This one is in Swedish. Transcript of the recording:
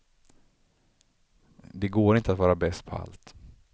Det går inte att vara bäst på allt.